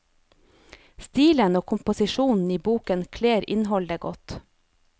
Stilen og komposisjonen i boken kler innholdet godt.